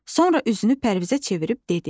Sonra üzünü Pərvizə çevirib dedi.